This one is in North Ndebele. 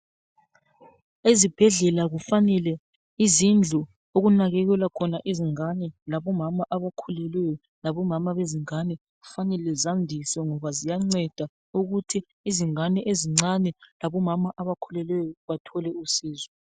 Ezibhedlela kufanele izindlu okunakekelwa khona izingane labomama abakhulileyo labomama bezingane kufanele zandiswe ngoba ziyanceda ukuthi izingane ezincane labomama abakhulelweyo bathole usizo.